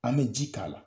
An bɛ ji k'a la